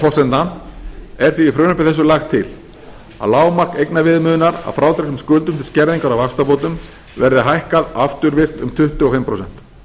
forsendna er því í frumvarpi þessu lagt til að lágmark eignaviðmiðunar að frádregnum skuldum til skerðingar á vaxtabótum verði hækkað afturvirkt um tuttugu og fimm prósent